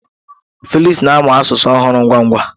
Felix na-amụ asụsụ ọhụrụ ngwa ngwa.